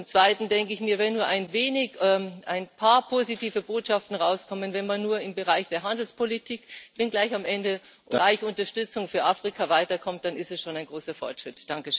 Und zum zweiten denke ich mir, wenn nur ein wenig, ein paar positive Botschaften herauskommen, wenn man nur im Bereich der Handelspolitik und im Bereich der Unterstützung für Afrika weiterkommt, dann ist es schon ein großer Fortschritt.